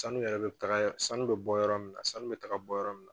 Sanu yɛrɛ bɛ taga sanu bɛ bɔ yɔrɔ min na sanu bɛ taga bɔ yɔrɔ min na